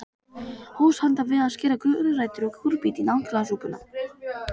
Hófst handa við að skera gulrætur og kúrbít í naglasúpuna.